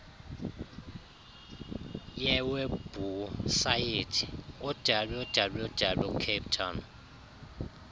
yewebhusayithi www capetown